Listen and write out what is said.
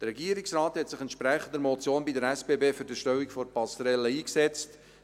Der Regierungsrat hat sich der Motion entsprechend bei der SBB für die Erstellung der Passerelle eingesetzt.